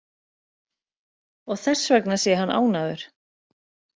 Og þessvegna sé hann ánægður